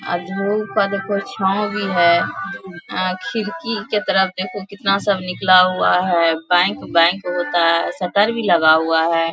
आ धूप आर के छाव भी हेय आ खिड़की के तरफ देखो कितना सब निकला हुआ है बैंक बैंक होता है शटर भी लगा हुआ है।